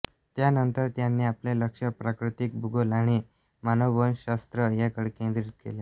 त्यानंतर त्यांनी आपले लक्ष प्राकृतिक भूगोल आणि मानववंशशास्त्र याकडे केंद्रीत केले